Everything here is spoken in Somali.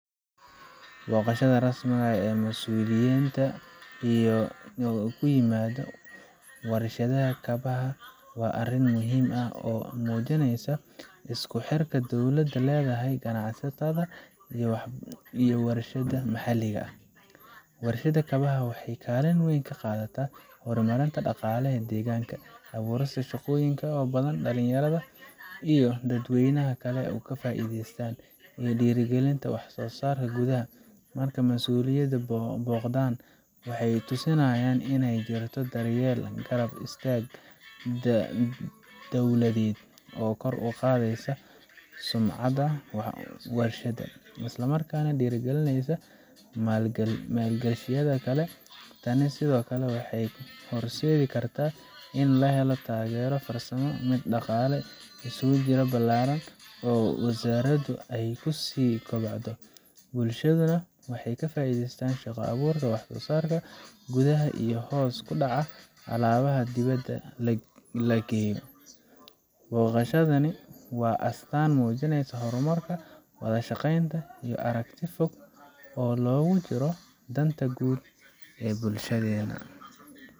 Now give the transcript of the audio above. Booqashada rasmiga ah ee masuuliyiinta ku yimaadeen warshadda kabaha waa arrin muhiim ah oo muujinaysa isku xirka dowladdu la leedahay ganacsatada iyo warshadaha maxalliga ah. Warshadda kabaha waxay kaalin weyn ka qaadataa horumarinta dhaqaalaha deegaanka, abuurista shaqooyin badan oo dhalinyarada iyo dadweynaha kale ay ka faa’iideystaan, iyo dhiirrigelinta wax soosaarka gudaha. Marka masuuliyiin booqdaan, waxay tusinaysaa in ay jirto daryeel iyo garab istaag dawladeed oo kor u qaadaysa sumcadda warshadda, islamarkaana dhiirrigelin u ah maal gashadayaasha kale. Tani sidoo kale waxay horseedi kartaa in la helo taageero farsamo, mid dhaqaale iyo suuq ballaaran oo warshaddu ay ku sii kobocdo. Bulshaduna waxay ka faa’iidaysaa shaqo-abuurka, wax soosaarka gudaha, iyo hoos u dhaca alaabaha dibadda lageyo. Booqashadani waa astaan muujinaysa horumar, wada shaqeyn, iyo aragti fog oo loogu jiro danta guud ee bulshadena.